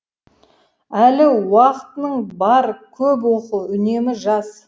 әлі уақытының бар көп оқы үнемі жаз